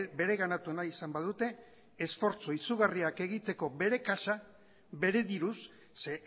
bereganatu nahi izan badute esfortzu izugarriak egiteko bere kaxa bere diruz ze